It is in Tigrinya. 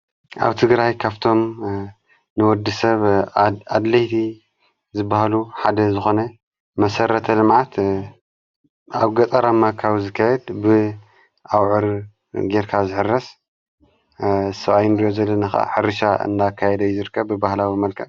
ኣብቲ ግራይ ካፍቶም ንወዲ ሰብ ኣድለይቲ ዝበሃሉ ሓደ ዝኾነ መሠረተ ልማዓት ኣብ ገጸራማካዊ ዝከህድ ብኣውዕር ጌርካ ዘኅረስ ሰብይንድዮዘለ ሕሪሻ እናካይደ ይዘርከ ብባህላዊ መልካ።